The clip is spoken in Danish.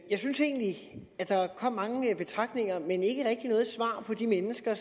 jeg synes egentlig at der kom mange betragtninger men ikke rigtig noget svar for de mennesker